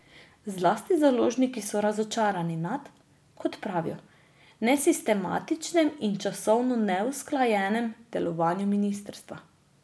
Zlasti založniki so razočarani nad, kot pravijo, nesistematičnim in časovno neusklajenem delovanju ministrstva.